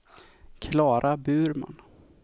Klara Burman